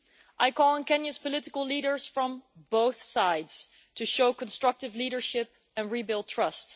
I call on Kenya's political leaders from both sides to show constructive leadership and rebuild trust.